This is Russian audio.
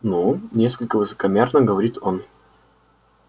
ну несколько высокомерно говорит он